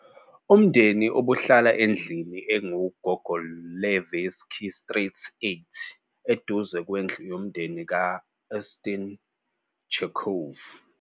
Umndeni ubuhlala endlini "ekuGogolevski Street 8", eduze kwendlu yomndeni ka-Anton Chekhov.